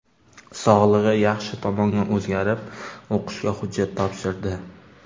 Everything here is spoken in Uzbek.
Sog‘lig‘i yaxshi tomonga o‘zgarib, o‘qishga hujjat topshirdi.